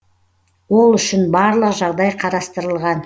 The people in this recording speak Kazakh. ол үшін барлық жағдай қарастырылған